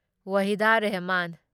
ꯋꯥꯍꯤꯗꯥ Rehman